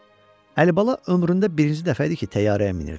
Əlibala ömründə birinci dəfə idi ki, təyyarəyə minirdi.